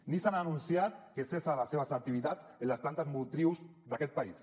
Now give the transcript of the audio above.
nissan ha anunciat que cessa les seves activitats en les plantes motrius d’aquest país